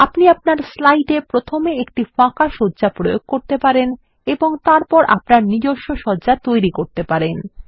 আপনি আপনার স্লাইডে প্রথমে একটি ফাঁকা সজ্জা প্রয়োগ করতে পারেন এবং তারপর আপনার নিজস্ব সজ্জা তৈরি করতে পারেন